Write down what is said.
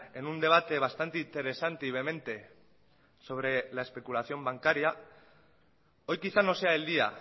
en un debate bastante interesante y vehemente sobre la especulación bancaria hoy quizás no sea el día